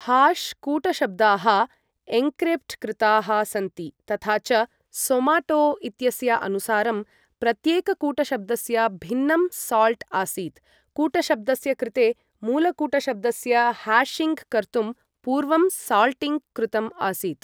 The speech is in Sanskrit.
हाश् कूटशब्दाः एन्क्रिप्ट् कृताः सन्ति, तथा च सोमाटो इत्यस्य अनुसारं प्रत्येककूटशब्दस्य भिन्नं साल्ट् आसीत्, कूटशब्दस्य कृते, मूलकूटशब्दस्य हाशिङ्ग् कर्तुं पूर्वं साल्टिङ्ग् कृतम् आसीत्।